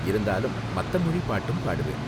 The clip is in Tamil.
இருந்தாலும், மத்த மொழி பாட்டும் பாடுவேன்.